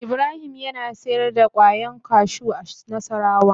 Ibrahim yana sayar da kwayan kashu a nassarawa.